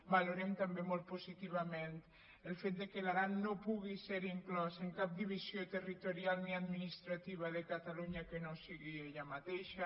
valorem també molt positivament el fet que l’aran no pugui ser inclòs en cap divisió territorial ni adminis·trativa de catalunya que no sigui ella mateixa